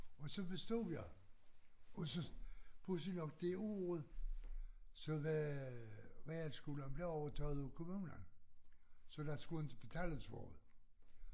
Og så bestod jeg og så pudsigt nok det år så var realskolen blevet overtaget af kommunen så der skulle inte betales for det